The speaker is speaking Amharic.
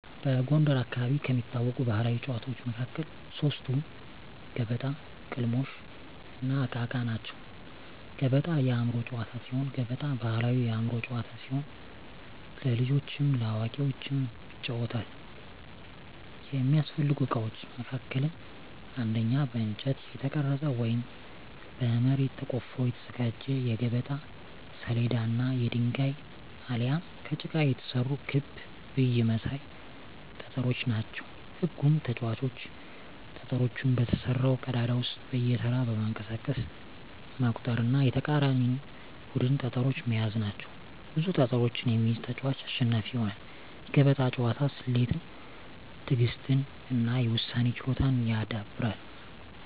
በጎንደር አካባቢ ከሚታወቁ ባሕላዊ ጨዋታዎች መካከል ሶስቱ ገበጣ፣ ቅልሞሽ፣ እና እቃ እቃ ናቸው። ገበጣ የአእምሮ ጨዋታ ሲሆን ገበጣ ባሕላዊ የአእምሮ ጨዋታ ሲሆን ለልጆችም ለአዋቂዎችም ይጫወታል። የሚያስፈልጉ እቃዎች መካከልም አንደኛ በእንጨት የተቀረጸ ወይም በመሬት ተቆፍሮ የተዘጋጀ የገበጣ ሰሌዳ እና የድንጋይ አሊያም ከጭቃ የተሰሩ ክብ ብይ መሳይ ጠጠሮች ናቸው። ህጉም ተጫዋቾች ጠጠሮቹን በተሰራው ቀዳዳ ውስጥ በየተራ በማንቀሳቀስ መቁጠር እና የተቃራኒን ቡድን ጠጠሮች መያዝ ናቸው። ብዙ ጠጠሮችን የሚይዝ ተጫዋች አሸናፊ ይሆናል። የገበጣ ጨዋታ ስሌትን፣ ትዕግሥትን እና የውሳኔ ችሎታን ያዳብራል።